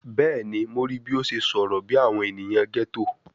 Bẹẹni, Mo rii bi o ṣe sọrọ bi awọn eniyan ghetto